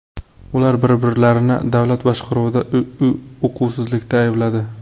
Ular bir-birlarini davlat boshqaruvida uquvsizlikda aybladi.